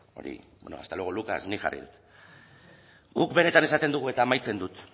bueno hasta luego lucas nik jarri dut guk benetan esaten dugu eta amaitzen dut